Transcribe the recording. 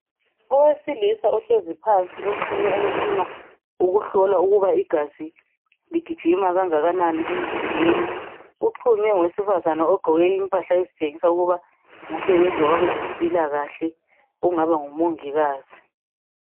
Owesilisa uhlezi phansi uxhunywe umtshina owokuhlola ukuba igazi ligijima kangakanani emzimbeni. Uxhunywe ngowesifazana ogqoke impahla ezitshengisa ukuba ngosebenza kwabezempilakahle okungaba ngumongikazi.